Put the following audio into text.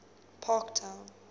parktown